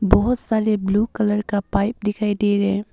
बहुत साले blue colour का पाइप दिखाई दे रहे हैं।